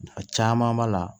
A caman b'a la